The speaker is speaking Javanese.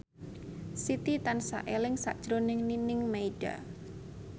Siti tansah eling sakjroning Nining Meida